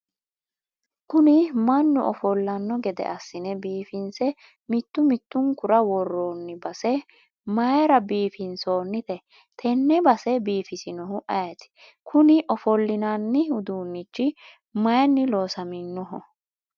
kuni mannu ofollanno gede assine biifinse mittu mittunkura worroonni base mayiira biifinsoonnite? tenne base biifisinohu ayeet? kuni ofollinani uduunichi mayiinni loonsooniho?